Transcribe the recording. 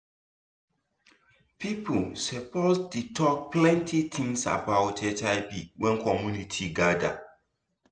people suppose dey talk plenty things about hiv when community gather